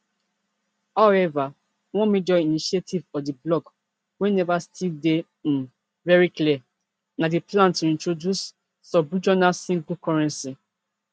however one major initiative of di bloc wey neva still dey um very clear na di plan to introduce subregional single currency